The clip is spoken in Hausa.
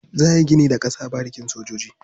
Za a yi gini da ƙasa a barikin sojan Nguru.